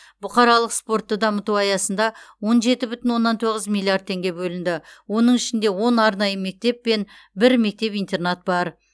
бұқаралық спортты дамыту аясында он жеті бүтін оннан тоғыз миллиард теңге бөлінді оның ішінде он арнайы мектеп пен бір мектеп интернат бар